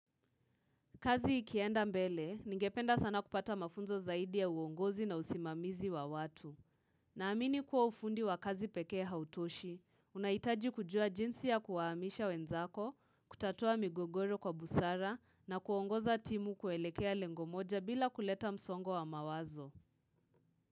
Kazi ikienda mbele, ningependa sana kupata mafunzo zaidi ya uongozi na usimamizi wa watu. Na amini kuwa ufundi wa kazi peke hautoshi, unahitaji kujua jinsi ya kuwaamisha wenzako, kutatua migogoro kwa busara na kuongoza timu kuelekea lengo moja bila kuleta msongo wa mawazo.